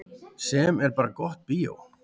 Sem er bara gott bíó.